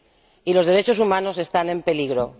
Y los derechos humanos están en peligro.